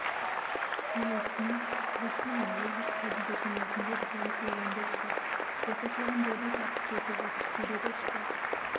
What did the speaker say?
елеусінов василий левит әділбек ниязымбетов және иван дычко босатылған дода тартысты өтіп жатыр себебі ішкі